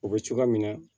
O bɛ cogoya min na